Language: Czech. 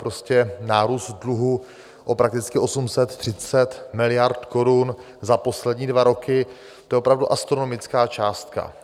Prostě nárůst dluhu o prakticky 830 miliard korun za poslední dva roky, to je opravdu astronomická částka.